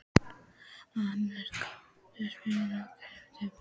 Hannes, kanntu að spila lagið „Grafir og bein“?